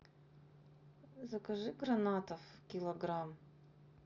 закажи гранатов килограмм